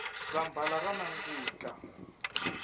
zambhala ra nandzika